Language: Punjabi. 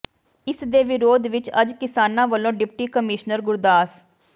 ਇਸ ਦੇ ਵਿਰੋਧ ਵਿਚ ਅੱਜ ਕਿਸਾਨਾਂ ਵੱਲੋਂ ਡਿਪਟੀ ਕਮਿਸ਼ਨਰ ਗੁਰਦਾਸ